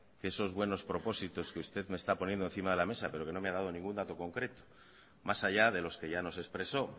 que esos buenos propósitos que usted me está poniendo encima de la mesa pero que no me ha dado ningún dato concreto más allá de los que ya nos expresó